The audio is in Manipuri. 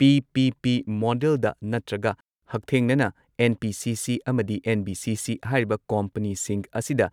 ꯄꯤ.ꯄꯤ.ꯄꯤ ꯃꯣꯗꯦꯜꯗ ꯅꯠꯇ꯭ꯔꯒ ꯍꯛꯊꯦꯡꯅꯅ ꯑꯦꯟ.ꯄꯤ.ꯁꯤ.ꯁꯤ ꯑꯃꯗꯤ ꯑꯦꯟ.ꯕꯤ.ꯁꯤ.ꯁꯤ ꯍꯥꯏꯔꯤꯕ ꯀꯣꯝꯄꯅꯤꯁꯤꯡ ꯑꯁꯤꯗ